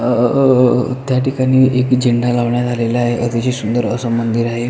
अ अ त्याठिकाणी एक झेंडा लावण्यात आलेला आहे अ अतिशय सुंदर अस मंदिर आहे.